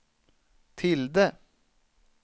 tilde